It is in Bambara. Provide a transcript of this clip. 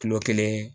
Kilo kelen